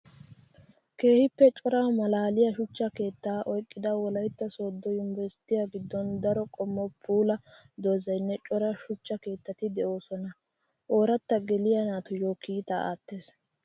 Keehippe cora malaaliya shuchcha keetta oyqqidda wolaytta soodo yunbbursttiya gidon daro qommo puula doozaynne cora shuchcha keettati de'osonna. Oorata geliya naatuyo kiitta aattes.